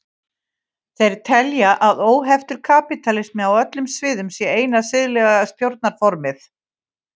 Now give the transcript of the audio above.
Þeir telja að óheftur kapítalismi á öllum sviðum sé eina siðlega stjórnarformið.